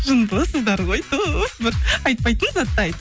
жындысыздар ғой тууф бір айтпайтын затты айт